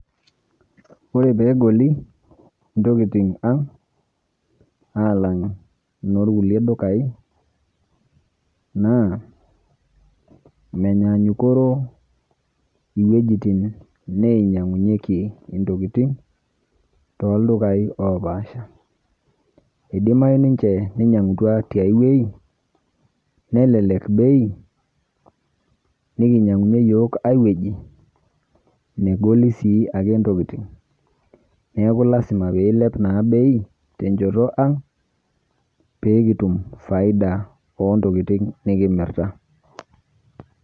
Ore pegoli intokiting ang', alang inorkulie dukai, naa menyanyukoro iwuejiting neinyang'unyeki toldukai opaasha. Idimayu ninche ninyang'utua tiai wuei, nelelek bei, nikinyang'unye yiok ai wei negoli si ake ntokiting. Neeku lasima na pilep ake bei, tenchoto ang',pekitum faida ontokiting nikimirta.